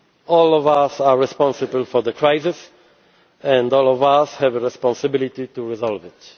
week. All of us are responsible for the crisis and all of us have a responsibility to resolve